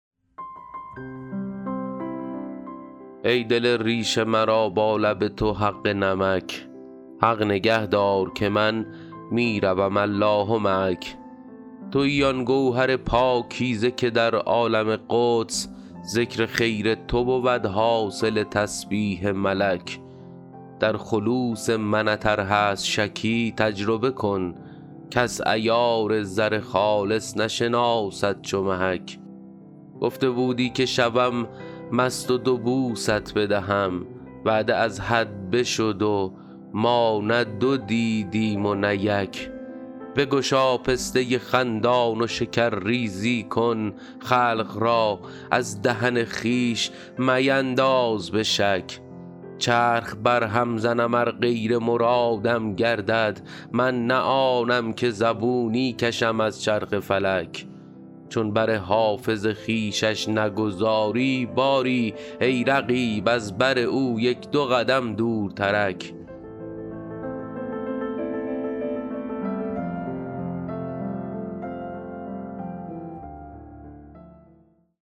ای دل ریش مرا با لب تو حق نمک حق نگه دار که من می روم الله معک تویی آن گوهر پاکیزه که در عالم قدس ذکر خیر تو بود حاصل تسبیح ملک در خلوص منت ار هست شکی تجربه کن کس عیار زر خالص نشناسد چو محک گفته بودی که شوم مست و دو بوست بدهم وعده از حد بشد و ما نه دو دیدیم و نه یک بگشا پسته خندان و شکرریزی کن خلق را از دهن خویش مینداز به شک چرخ برهم زنم ار غیر مرادم گردد من نه آنم که زبونی کشم از چرخ فلک چون بر حافظ خویشش نگذاری باری ای رقیب از بر او یک دو قدم دورترک